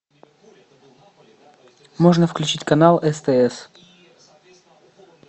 можно включить канал стс